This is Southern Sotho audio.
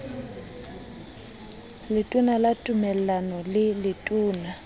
letona ka tumellano le letona